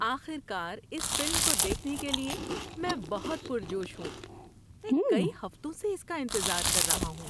آخر کار اس فلم کو دیکھنے کے لیے میں بہت پرجوش ہوں! میں کئی ہفتوں سے اس کا انتظار کر رہا ہوں۔